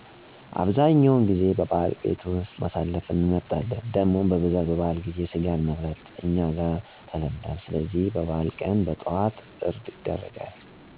አብዛኛውን ጊዜ በበዓል ቤት ውስጥ ማሳለፍን እንመርጣለን። ደሞም በብዛት በበዓል ጊዜ ስጋን መብላት እኛ ጋር ተለምዱአል ስለዚህ የበዓል ቀን በጠዋት እርድ ይደረጋል። እንደ ዶሮ፣ በግ፣ በሬ ሲሆኑ የዛን እለት ወደ ቤት ለመጣ ሰው ከስጋው ተጠብሶ ብናው ተፈልቶ ዳቦ ተሰጥቾት በብዙ ፍቅር ይስተናገዳል። የቤቱም ሰዎች አንድ ላይ በመሆን መሸት ሲል እየተበላ እየተጠጣ እየተጨፈረ ቀኑን በደስታ አናሳልፋለን።